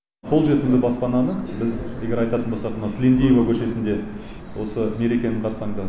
қолжетімді баспананы біз егер айтатын болсақ мынау тілендиева көшесінде осы мерекенің қарсаңында